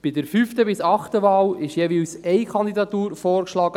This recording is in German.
Bei der fünften bis achten Wahl ist jeweils eine Kandidatur vorgeschlagen;